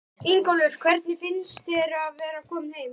Ingólfur: Hvernig finnst þér að vera kominn heim?